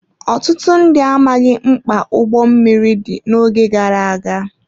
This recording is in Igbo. Ọtụtụ ndị amaghị mkpa ụgbọ mmiri dị n'oge gara aga.